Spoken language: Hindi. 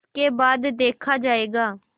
उसके बाद देखा जायगा